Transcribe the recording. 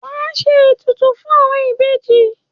Wa a ṣe ètùtù fún àwọn ìbejì.